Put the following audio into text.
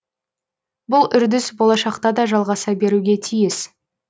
бұл үрдіс болашақта да жалғаса беруге тиіс